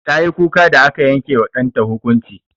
Tayi kuka da aka yanke wa ɗanta hukunci.